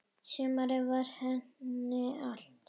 Sumarið var henni allt.